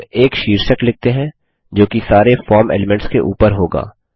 अब एक शीर्षक लिखते हैं जोकि सारे फॉर्म एलीमेंट्स के ऊपर होगा